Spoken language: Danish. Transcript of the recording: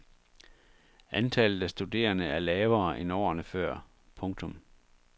Antallet af studerende er lavere end årene før. punktum